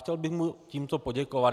Chtěl bych mu tímto poděkovat.